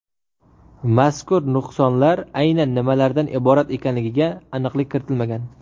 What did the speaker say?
Mazkur nuqsonlar aynan nimalardan iborat ekanligiga aniqlik kiritilmagan.